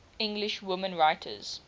english women writers